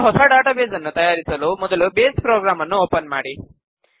ಒಂದು ಹೊಸ ಡಾಟಾಬೇಸ್ ನ್ನು ತಯಾರಿಸಲು ಮೊದಲು ಬೇಸ್ ಪ್ರೊಗ್ರಾಮ್ ನ್ನು ಓಪನ್ ಮಾಡಿ